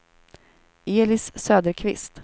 Elis Söderqvist